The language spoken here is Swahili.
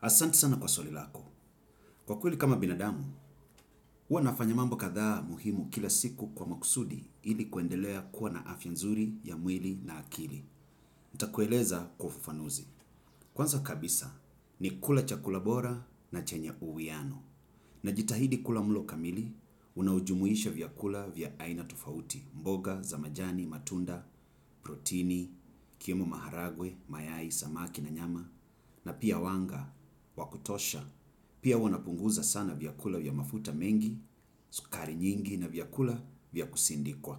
Asanti sana kwa swali lako. Kwa kweli kama binadamu, huwa nafanya mambo katdaa muhimu kila siku kwa makusudi ili kuendelea kuwa na afya nzuri ya mwili na akili. Nitakueleza kwa ufufanuzi. Kwanza kabisa ni kula chakula bora na chenye uwiano. Najitahidi kula mlo kamili, unao jumuisha vyakula vya aina tofauti, mboga za majani, matunda, protini, yakiwemo maharagwe, mayai, samaki na nyama, na pia wanga wakutosha. Pia huwa napunguza sana vyakula vya mafuta mengi, sukari nyingi na vyakula vya kusindikwa.